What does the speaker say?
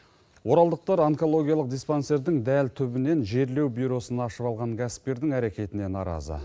оралдықтар онкологиялық диспансердің дәл түбінен жерлеу бюросын ашып алған кәсіпкердің әрекетіне наразы